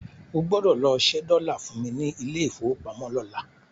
O gbọ́dọ̀ lọ ṣẹ́ dọ́là fún mi ní ilé ìfowópamọ́ lọ́la.